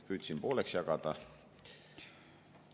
Püüdsin pooleks jagada.